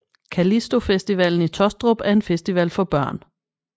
Callisto Festivalen i Taastrup er en festival for børn